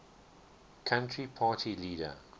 country party leader